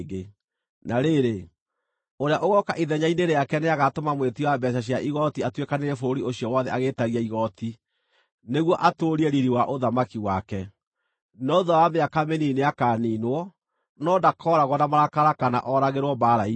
“Na rĩrĩ, ũrĩa ũgooka ithenya-inĩ rĩake nĩagatũma mwĩtia wa mbeeca cia igooti atuĩkanĩrie bũrũri ũcio wothe agĩĩtagia igooti, nĩguo atũũrie riiri wa ũthamaki wake. No thuutha wa mĩaka mĩnini nĩakaniinwo, no ndakooragwo na marakara kana ooragĩrwo mbaara-inĩ.